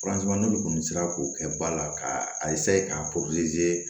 n'olu tun sera k'o kɛ ba la k'a k'a